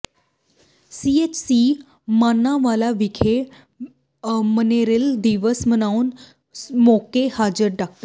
CHC Manawala ਵਿਖੇ malaria ਦਿਵਸ ਮਨਾਉਣ ਮੌਕੇ ਹਾਜ਼ਰ ਡਾ